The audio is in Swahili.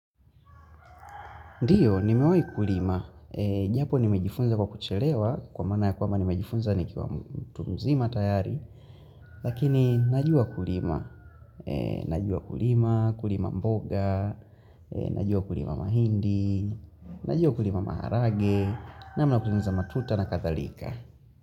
Ndiyo, nimewai kulima. Japo nimejifunza kwa kuchelewa kwa mana ya kwama nimejifunza nikiwa mtu mzima tayari. Lakini najua kulima. Najua kulima, kulima mboga, najua kulima mahindi, najua kulima maharage, nama ya kutengeneza matuta na kadhalika.